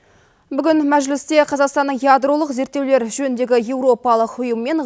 бүгін мәжілісте қазақстанның ядролық зерттеулер жөніндегі еуропалық ұйым мен